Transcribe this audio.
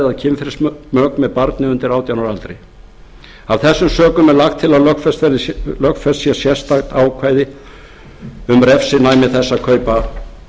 eða kynferðismök með barni undir átján ára aldri af þessum sökum er lagt til að lögfest sé sérstakt ákvæði um refsinæmi þess að kaupa